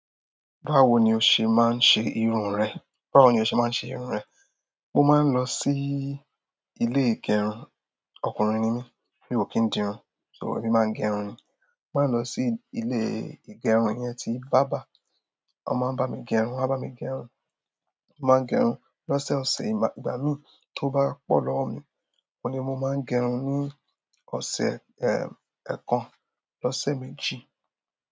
Báwo ni o ṣe máa ń ṣe irun rẹ? Báwo ni o ṣe máa ń ṣe irun rẹ? Mo máa ń lọ sí ilé ìgẹrun. Ọkùnrin ni mí, mi ò kì í dìrun, so èmi máa ń gẹrun. Mo máa ń lọ sí ilé ìgẹrun yẹn ti bàbá. Wọ́n máa ń bá mi gẹrun, wọ́n á bá mi gẹrun. Mo máa ń gẹrun lọ́sẹ̀ ọ̀sẹ̀, ìgbà mí tó bá pọ̀ lọ́wọ́ mi, mo ní mo máa ń gẹrun ní ọ̀sẹ̀, kan lọ́sẹ̀ méjì.